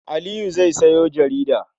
Aliyu zai sayo jarida.